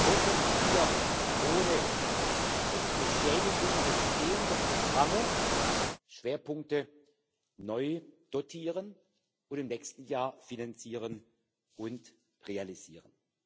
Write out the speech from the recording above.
Nur so konnten wir ohne Beschädigung bestehender Programme Schwerpunkte neu dotieren und im nächsten Jahr finanzieren und realisieren.